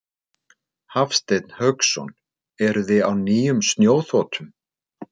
Hafsteinn Hauksson: Eruði á nýjum snjóþotum?